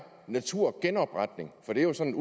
naturgenopretning for det er jo sådan